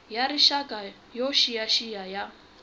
ya rixaka yo xiyaxiya ya